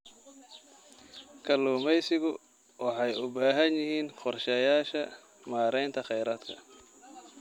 Kalluumaysigu waxay u baahan yihiin qorshayaasha maaraynta khayraadka.